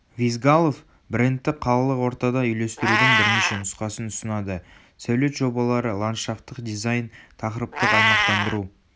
визгалов брендті қалалық ортада үйлестірудің бірнеше нұсқасын ұсынады сәулет жобалары ландшафтық дизайн тақырыптық аймақтандыру